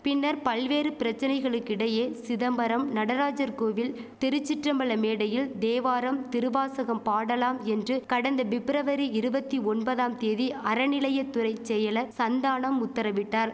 பின்னர் பல்வேறு பிரச்சனைகளுக்கிடையே சிதம்பரம் நடராஜர் கோவில் திருச்சிற்றம்பல மேடையில் தேவாரம் திருவாசகம் பாடலாம் என்று கடந்த பிப்ரவரி இருவத்தி ஒன்பதாம் தேதி அறநிலையத் துறை செயலர் சந்தானம் உத்தரவிட்டார்